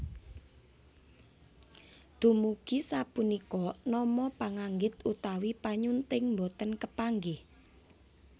Dumugi sapunika nama penganggit utawi panyunting boten kepanggih